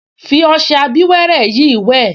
Fi ọṣẹ abíwẹ́rẹ́ yìí wẹ̀